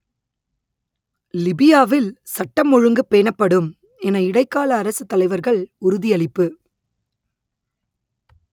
லிபியாவில் சட்டம் ஒழுங்கு பேணப்படும் என இடைக்கால அரசுத் தலைவர்கள் உறுதியளிப்பு